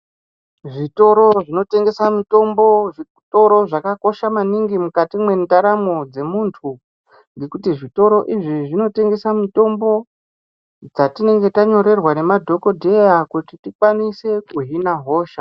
Zvitororo zvinotengesa mitombo zvitoro zvakakosha maningi mukati mwendaramo dzemunthu ngekuti zvitoro izvi zvinotengesa mitombo dzatinenge tanyorerwa memadhokodheya kuti tikwanise kuhiln hosha.